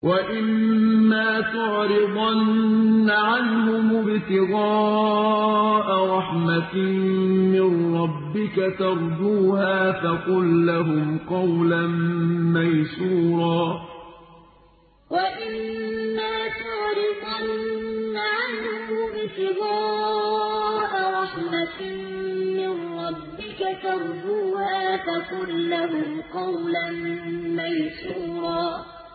وَإِمَّا تُعْرِضَنَّ عَنْهُمُ ابْتِغَاءَ رَحْمَةٍ مِّن رَّبِّكَ تَرْجُوهَا فَقُل لَّهُمْ قَوْلًا مَّيْسُورًا وَإِمَّا تُعْرِضَنَّ عَنْهُمُ ابْتِغَاءَ رَحْمَةٍ مِّن رَّبِّكَ تَرْجُوهَا فَقُل لَّهُمْ قَوْلًا مَّيْسُورًا